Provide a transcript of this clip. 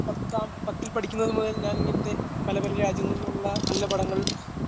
പത്താം പത്തിൽ പഠിക്കുന്നത് മുതൽ ഞാൻ ഇങ്ങനത്തെ പലപല രാജ്യങ്ങളിലുള്ള നല്ല പടങ്ങൾ